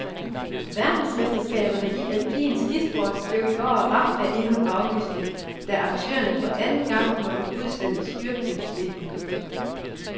Verdensmesterskaberne i alpin skisport blev i går ramt af endnu en aflysning, da arrangørerne for anden gang måtte udsætte styrtløbsdelen.